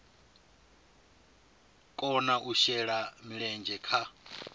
kona u shela mulenzhe kha